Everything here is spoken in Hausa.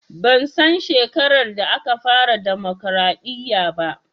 Ban san shekarar da aka fara dimokraɗiya ba